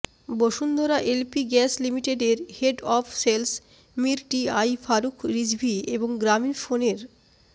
Bashundhara LP gas লিমিটেডের head of sales Mir T I Faruk Rizvi এবং গ্রামীণফোনের